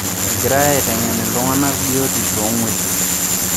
Egirai aiteng'en iltung'ana biotisho oo ngwesi